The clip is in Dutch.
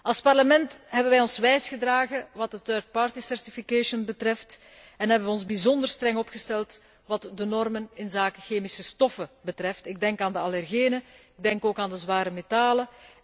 Als Parlement hebben wij ons wijs gedragen wat het third party certification betreft en hebben we ons bijzonder streng opgesteld wat de normen inzake chemische stoffen betreft, ik denk aan de allergenen, ik denk ook aan de zware metalen